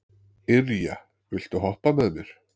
Irja, viltu hoppa með mér?